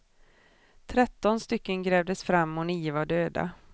Tretton stycken grävdes fram och nio var döda.